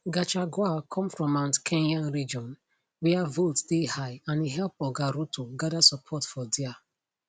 gachagua come from mount kenya region wia votes dey high and e help oga ruto gada support for dia